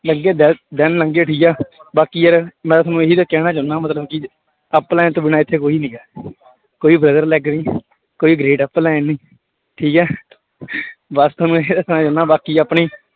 ਅੱਗੇ ਦਿ ਦਿਨ ਲੰਘੇ ਠੀਕ ਹੈ ਬਾਕੀ ਯਾਰ ਮੈਂ ਤਾਂ ਤੁਹਾਨੂੰ ਇਹੀ ਤਾਂ ਕਹਿਣਾ ਚਾਹੁੰਨਾ ਮਤਲਬ ਕਿ online ਤੋਂ ਬਿਨਾਂ ਇੱਥੇ ਕੋਈ ਨੀ ਗਾ ਕੋਈ brother leg ਨੀ ਕੋਈ great online ਨੀ ਠੀਕ ਹੈ ਬਸ ਤੁਹਾਨੂੰ ਇਹੀ ਦੱਸਣਾ ਚਾਹੁਨਾ ਬਾਕੀ ਆਪਣੀ